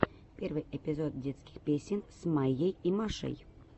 первый эпизод детских песен с майей и машей